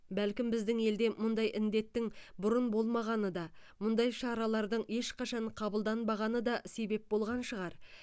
бәлкім біздің елде мұндай індеттің бұрын болмағаны да мұндай шаралардың ешқашан қабылданбағаны да себеп болған шығар